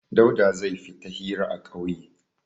Dauda zai fita hira a ƙauye.